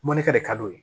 Mɔnikɛ de ka d'u ye